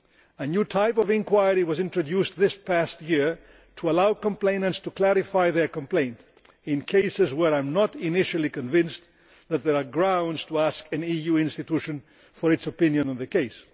A new type of inquiry was introduced this past year to allow complainants to clarify their complaints in cases where I am not initially convinced that there are grounds to ask an EU institution for its opinion on the case.